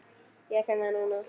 Ég finn það núna.